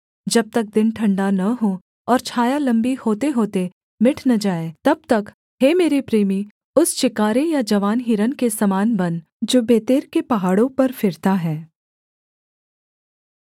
जब तक दिन ठण्डा न हो और छाया लम्बी होतेहोते मिट न जाए तब तक हे मेरे प्रेमी उस चिकारे या जवान हिरन के समान बन जो बेतेर के पहाड़ों पर फिरता है